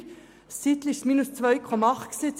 Eine Zeit lang betrug die Teuerung 2,8 Prozent.